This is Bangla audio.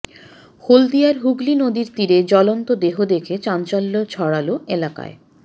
হলদিয়ার হুগলী নদীর তীরে জ্বলন্ত দেহ দেখে চাঞ্চল্য ছড়াল এলাকায়